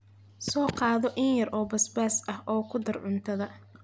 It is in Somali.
Soo qaado in yar oo basbaas ah oo ku dar cuntada,